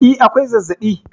E, akwai zazzabi